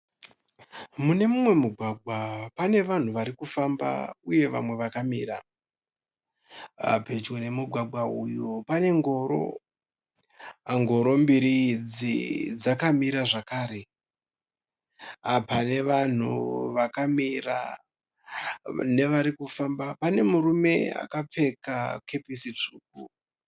Mune mumwe mugwagwa pane vanhu vari kufamba uye vamwe vakamira. Pedyo nemugwagwa uyu pane ngoro. Ngoro mbiri idzi dzakamira zvakare. Pane vanhu vakamira nevari kufamba pane murume akapfeka kepesi tsvuku.